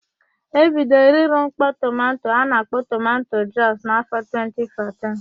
E bidoro ịrụ mkpọ tomanto a na-akpọ tomanto jọs n'afọ 2014.